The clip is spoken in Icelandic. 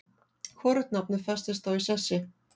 Hvorugt nafnið festist þó í sessi.